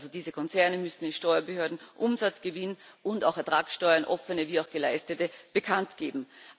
Diese Konzerne müssen den Steuerbehörden Umsatz, Gewinn und auch Ertragsteuern offene wie auch geleistete bekanntgeben.